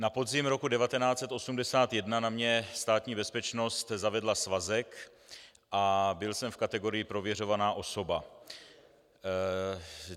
Na podzim roku 1981 na mě Státní bezpečnost zavedla svazek a byl jsem v kategorii "prověřovaná osoba".